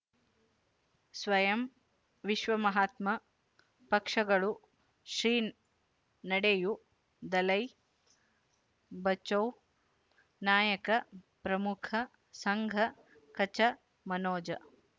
ಸ್ವಯಂ ವಿಶ್ವ ಮಹಾತ್ಮ ಪಕ್ಷಗಳು ಶ್ರೀ ನಡೆಯೂ ದಲೈ ಬಚೌ ನಾಯಕ ಪ್ರಮುಖ ಸಂಘ ಕಚ್ ಮನೋಜ್